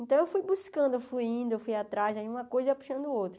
Então, eu fui buscando, eu fui indo, eu fui atrás, aí uma coisa puxando a outra.